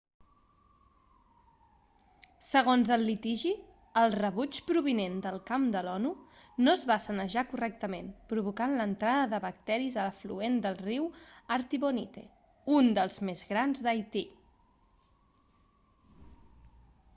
segons el litigi el rebuig provinent del camp de l'onu no es va sanejar correctament provocant l'entrada de bacteris a l'afluent del riu artibonite un dels més grans d'haití